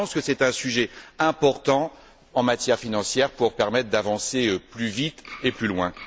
Je pense que c'est un sujet important en matière financière pour permettre d'avancer plus vite et plus loin.